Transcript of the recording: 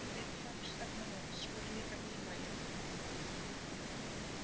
Viðfangsefni hans voru líka nýmæli.